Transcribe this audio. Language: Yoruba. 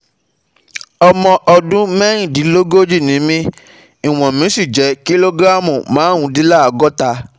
Ọmọ ọdún mẹ́rìndínlógójì ni mí, ìwọ̀n mi sì jẹ́ kílógírámù márùndínlọ́gọ́ta